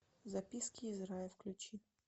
записки из рая включи